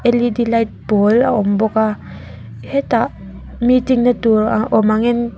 l e d light pawl a awm bawk a hetah meeting na tur awm ang in--